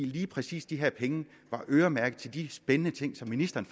lige præcis de her penge var øremærket til de spændende ting som ministeren